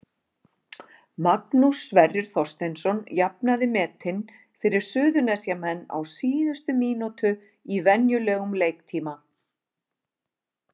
Magnús Sverrir Þorsteinsson jafnaði metin fyrir Suðurnesjamenn á síðustu mínútu í venjulegum leiktíma.